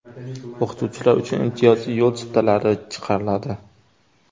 O‘qituvchilar uchun imtiyozli yo‘l chiptalari chiqariladi.